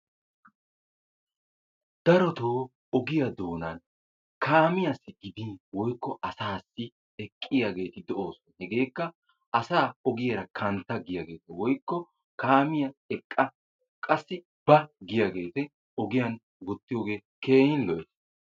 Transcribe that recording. Darotoo ogiya doonan kaamiyassi gidin woykkovasaassi eqqiyageeti de'oosona. Hegeekka asaa ogiyara kantta giyagee/kaamiya eqqa qassi ba giyagee ogoyan wottiyogee keehi lo'ees.